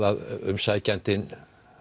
að umsækjandinn